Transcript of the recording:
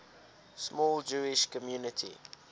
small jewish community